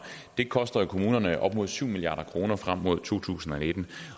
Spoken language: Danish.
koster jo kommunerne op mod syv milliard kroner frem mod to tusind og nitten